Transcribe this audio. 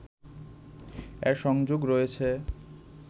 এর সংযোগ রয়েছে